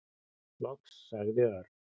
Loks sagði Örn.